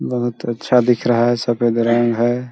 बहुत अच्छा दिख रहा है सफेद रंग है।